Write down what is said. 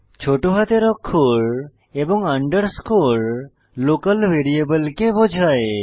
ছোট হাতের অক্ষর এবং আন্ডারস্কোর লোকাল ভ্যারিয়েবলকে বোঝায়